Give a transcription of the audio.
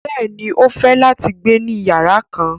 Bẹ́ẹ̀ni, o fẹ́ láti gbẹ̀ ní yàrà kán.